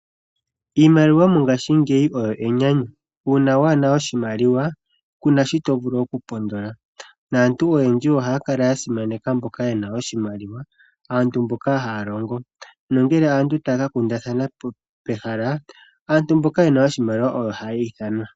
Iimliwa mongashingeyi oyo enyanayu. Uuna waana oshimaliwa kuna shi to vulu oku pondola. Aantu oyendji ohaya kala ya simanaka mboka yena oshimaliwa aantu mboka haya longo. Ngele aantu taya ka kundathana pehala aantu mboka yena oshimaliawa oyo hayiithanwa.